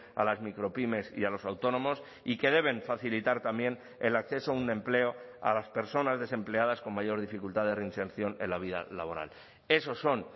a las micropymes y a los autónomos y que deben facilitar también el acceso a un empleo a las personas desempleadas con mayor dificultad de reinserción en la vida laboral esos son